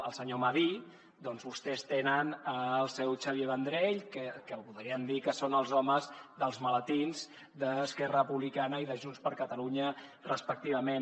el senyor madí doncs vostès tenen el seu xavier vendrell que podríem dir que són els homes dels maletins d’esquerra republicana i de junts per catalunya respectivament